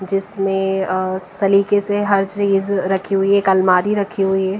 जिसमें अ सलीके से हर चीज रखी हुई है एक अलमारी रखी हुई है।